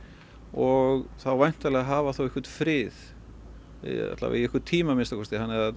og væntanlega hafa þá einhvern frið í alla vega einhvern tíma að minnsta kosti þannig að